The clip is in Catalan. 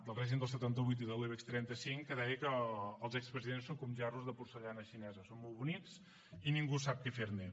del règim del setanta vuit i de l’ibex trenta cinc que deia que els expresidents són com gerros de porcellana xinesa són molt bonics i ningú sap què fer ne